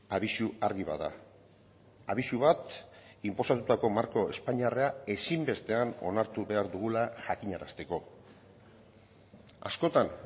abisu argi bat da abisu bat inposatutako marko espainiarra ezinbestean onartu behar dugula jakinarazteko askotan